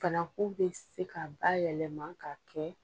Fanakun bɛ se ka bayɛlɛma k'a kɛ